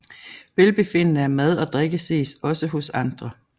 Velbefindende af mad og drikke ses også hos andre